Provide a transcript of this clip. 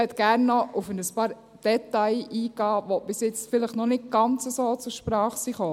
Ich möchte gerne noch auf ein paar Details eingehen, die bisher vielleicht noch nicht ganz so zur Sprache gekommen sind.